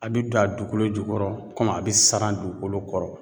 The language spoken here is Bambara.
A bi don a dugukolo jukɔrɔ a be saran dugukolo kɔrɔ.